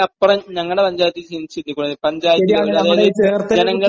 പക്ഷെ അതിനപ്പുറം നമ്മുടെ പഞ്ചായത്തി ഈ അതായത്..